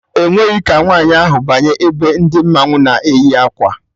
Ekweghị ka nwaanyị ahụ banye ebe ndị mmanwụ na eyi akwa